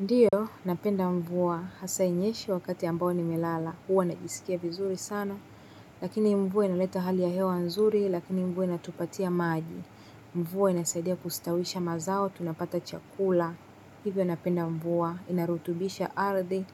Ndio, napenda mvua, hasa inyeshe wakati ambao nimelala, huwa najisikia vizuri sana, lakini mvua inaleta hali ya hewa nzuri, lakini mvua inatupatia maji. Mvua inasaidia kustawisha mazao, tunapata chakula, hivyo napenda mvua, inarutubisha ardhi,